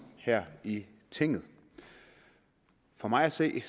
det her i tinget for mig at se